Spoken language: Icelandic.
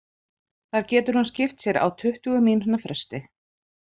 Þar getur hún skipt sér á tuttugu mínútna fresti.